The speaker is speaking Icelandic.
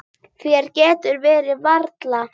Þér getur ekki verið alvara.